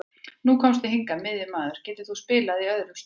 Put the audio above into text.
Nú komstu hingað sem miðjumaður, en getur þú spilað í öðrum stöðum?